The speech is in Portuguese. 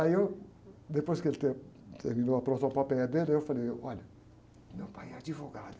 Aí eu, depois que ele ter, terminou a próxima dele, eu falei, olha, meu pai é advogado.